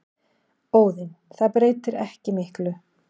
Óðinn: Það breytir ekki miklu.